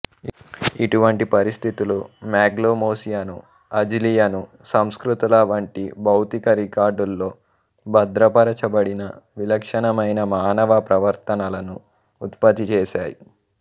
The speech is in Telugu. ఇటువంటి పరిస్థితులు మాగ్లెమోసియను అజిలియను సంస్కృతుల వంటి భౌతిక రికార్డులో భద్రపరచబడిన విలక్షణమైన మానవ ప్రవర్తనలను ఉత్పత్తి చేశాయి